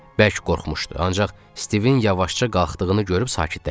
Bərk qorxmuşdu, ancaq Stivin yavaşca qalxdığını görüb sakitləşdi.